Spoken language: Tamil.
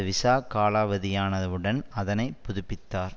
விசா காலாவதியானவுடன் அதனை புதிப்பித்தார்